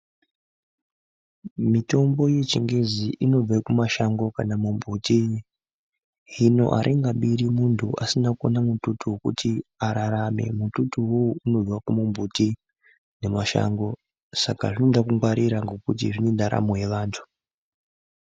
Mitombo yechingezi inobve kumashango kana mumbuti. Hino haringabiri muntu asina kuona mututu vekuti ararame. Mututuwo unobva kumumbuti nemashando. Saka zvinoda kungwarira nekuti zvine ndaramo yevantu.